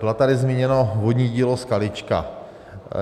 Bylo tady zmíněno vodní dílo Skalička.